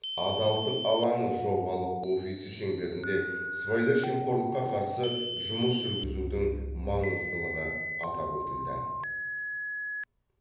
адалдық алаңы жобалық офисі шеңберінде сыбайлас жемқорлыққа қарсы жұмыс жүргізудің маңыздылығы атап өтілді